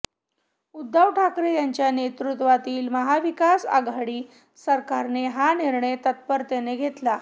उद्धव ठाकरे यांच्या नेतृत्वातील महाविकास आघाडी सरकारने हा निर्णय तत्परतेने घेतला